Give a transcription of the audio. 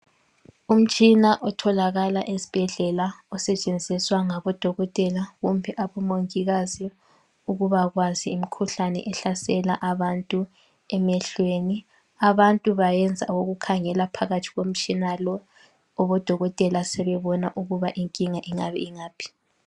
umtshina otholakala esibhedlela osetshenziswa ngabo dokotela kumbe abomongikazi ukuba kwazi imkhuhlane ehlasela abantu emehlweni abantu bayenza ukukhangela phakathi komtshina lowu odokotela sebebona ukuba inkinga ingabe ingaphi